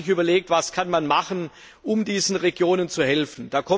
Man hat sich überlegt, was man machen kann, um diesen Regionen zu helfen.